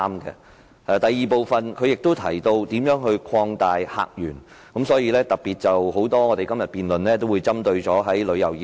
他在第二部分亦提到如何擴大客源，所以今天很多議員也特別談到旅遊業。